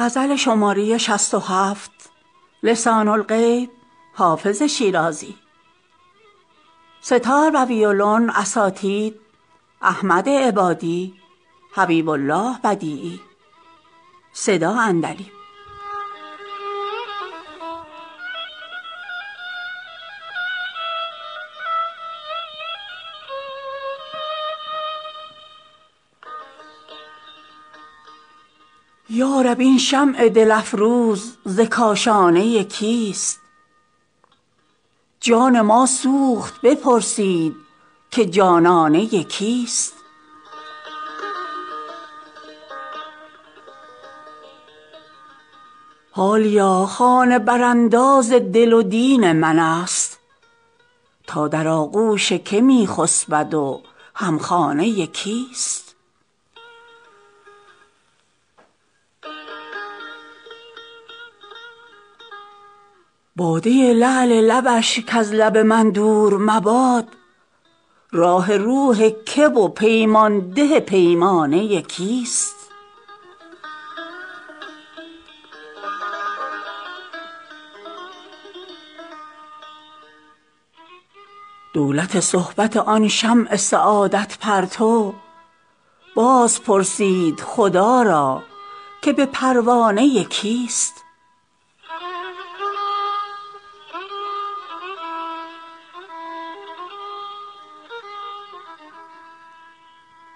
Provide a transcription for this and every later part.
یا رب این شمع دل افروز ز کاشانه کیست جان ما سوخت بپرسید که جانانه کیست حالیا خانه برانداز دل و دین من است تا در آغوش که می خسبد و هم خانه کیست باده لعل لبش کز لب من دور مباد راح روح که و پیمان ده پیمانه کیست دولت صحبت آن شمع سعادت پرتو باز پرسید خدا را که به پروانه کیست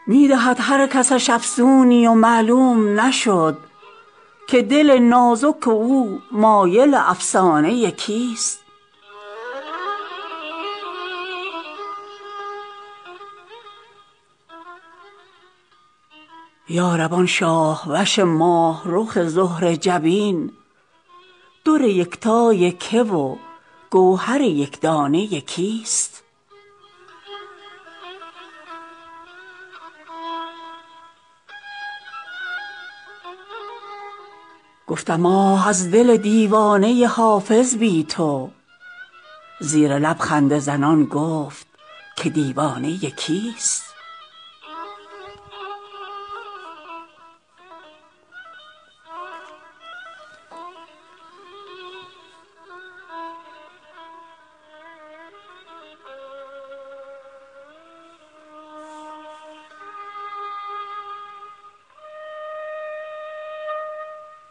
می دهد هر کسش افسونی و معلوم نشد که دل نازک او مایل افسانه کیست یا رب آن شاه وش ماه رخ زهره جبین در یکتای که و گوهر یک دانه کیست گفتم آه از دل دیوانه حافظ بی تو زیر لب خنده زنان گفت که دیوانه کیست